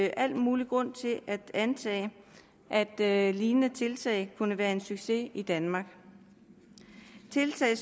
al mulig grund til at antage at at lignende tiltag kunne være en succes i danmark de tiltag